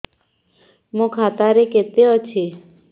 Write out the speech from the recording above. ମୋ ଖାତା ରେ କେତେ ଅଛି